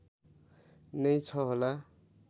नै छ होला